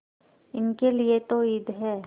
इनके लिए तो ईद है